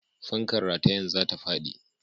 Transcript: Fankar ratayen za ta faɗi.